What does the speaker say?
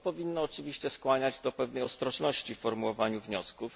To powinno oczywiście skłaniać do pewnej ostrożności w formułowaniu wniosków.